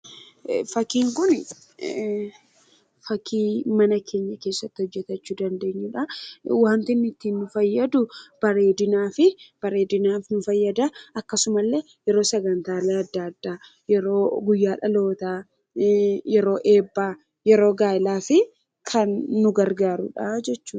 fakkiin kun fakkii mana keenya keessatti hojjetachu dandeenyuudha. Wanti nutti nu fayyadu bareedinaaf nu fayyada akkasuma illee yeroo sagantaalee adda addaa yeroo guyyaa dhaloota yeroo eebbaa yeroo gaa'elaafi kan nu gargaarudha jechudha.